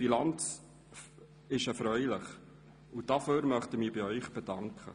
Die Bilanz ist erfreulich, und dafür möchte ich mich bei Ihnen bedanken.